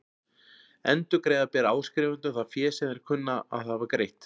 Endurgreiða ber áskrifendum það fé sem þeir kunna að hafa greitt.